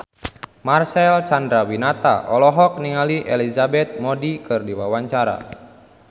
Marcel Chandrawinata olohok ningali Elizabeth Moody keur diwawancara